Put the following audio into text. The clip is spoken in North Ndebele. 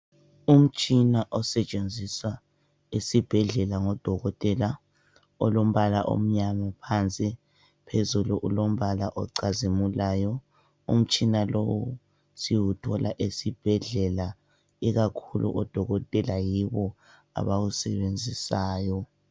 Umtshina osetshenziswa esibhedlela ngodokotela olombala omnyama phansi phezulu ulombala ocazimulayo. Umtshina lowu siwuthola esibhedlela ikakhulu odokotela yibo abawusebenzisayo